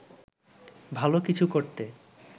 ভালো কিছু করতে